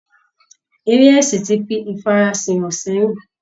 Eré ẹ̀sìn ti fi ifara sìn hàn sẹ́yìn